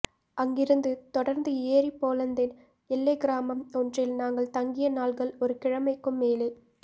அங்கிருந்து தொடருந்து ஏறி போலந்தின் எல்லைக்கிராமம் ஒன்றில் நாங்கள் தங்கிய நாள்கள் ஒரு கிழமைக்கும் மேலே